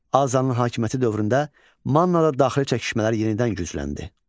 Azanın hakimiyyəti dövründə Mannada daxili çəkişmələr yenidən gücləndi.